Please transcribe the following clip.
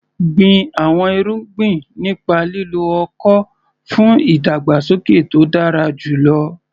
Gbin àwọn irúgbìn nípa lílo ọ̀kọ̀ fún ìdàgbàsókè tó dára jùlọ.